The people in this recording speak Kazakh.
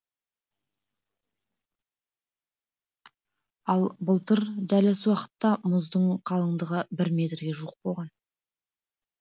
ал былтыр дәл осы уақытта мұздың қалыңдығы бір метрге жуық болған